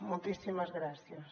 moltíssimes gràcies